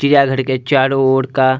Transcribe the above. चिड़ियाँ घर के चारो ओर का --